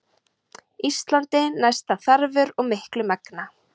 Ísalandi næsta þarfur og miklu megna.